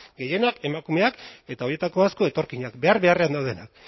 gehienak emakumeak eta horietako asko etorkinak behar beharrean daudenak